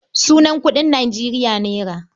Sunan kuɗin Nijeriya naira.